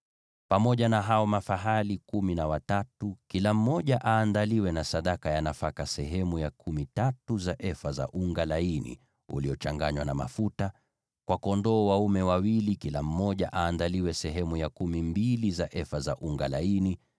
Pamoja na hao mafahali kumi na watatu, kila mmoja aandaliwe na sadaka ya nafaka sehemu ya kumi tatu za efa za unga laini uliochanganywa na mafuta; kwa kondoo dume wawili, kila mmoja aandaliwe sehemu ya kumi mbili za efa za unga laini;